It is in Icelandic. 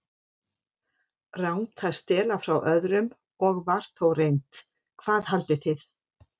Rangt að stela frá öðrum- og var þó reynt, hvað haldið þið.